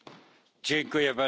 Herr Präsident!